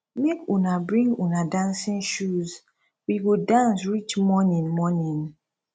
make una bring una dancing shoes we go dance reach morning morning